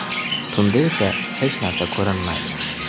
Tunda esa hech narsa ko‘rinmaydi.